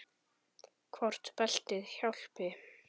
Hvort beltið hjálpi?